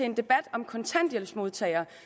en debat om kontanthjælpsmodtagere